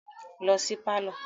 Lọ si pálọ̀